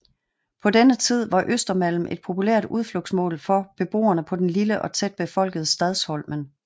På denne tid var Östermalm et populært udflugtsmål for beboerne på den lille og tæt befolkede Stadsholmen